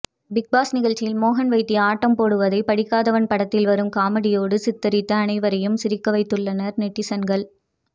Bigg Boss நிகழ்ச்சியில் மோகன் வைத்தியா ஆட்டம் போடுவதை படிக்காதவன் படத்தில் வரும் காமெடியோடு சித்தரித்து அனைவரையும் சிரிக்க வைத்துள்ளனர் நெட்டிசன்கள்